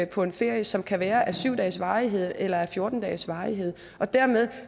på en ferie som kan være af syv dages varighed eller af fjorten dages varighed dermed